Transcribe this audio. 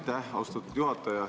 Aitäh, austatud juhataja!